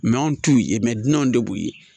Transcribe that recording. anw t'u ye dun de b'u ye